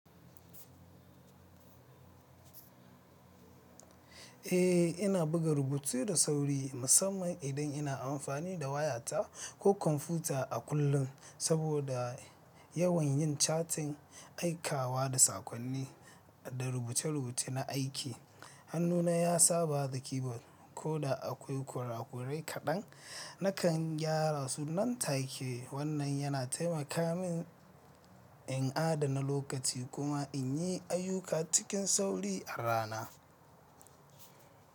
Eh, ina buga rubutu da sauri musamman idan ina amfani da wayata ko kwamfuta a kullum saboda yawan yin catin aikawa da saƙonni da rubuce-rubuce na aiki. Hannuna ya saba da keyboard ko da akwai kurakurai kaɗan, nakan gyara su nan take. Wannan yana taimaka min in adana lokaci kuma in yi ayyuka cikin sauri a rana.